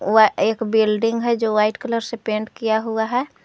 वह एक बिल्डिंग है जो व्हाइट कलर से पेंट किया हुआ है।